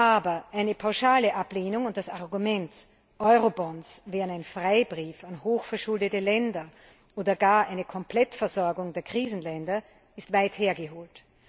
Aber eine pauschale Ablehnung und das Argument, Eurobonds wären ein Freibrief an hochverschuldete Länder oder gar eine Komplettversorgung der Krisenländer, ist weit hergeholt.